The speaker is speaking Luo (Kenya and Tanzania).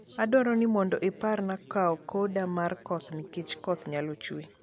adwaro ni mondo iparna kao koda mar koth nikech koth nyalo chue